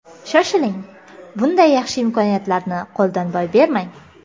Shoshiling, bunday yaxshi imkoniyatlarni qo‘ldan boy bermang!